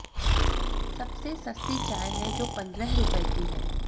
सबसे सस्ती चाय है जो पंद्रह रुपये की है